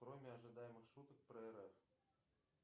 кроме ожидаемых шуток про рф